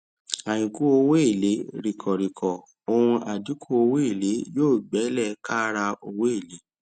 àínkù owó èlé ríkọ ríkọ ọǹ àdínkù owó èlé yóò gbẹ lẹ káàrà owó èlé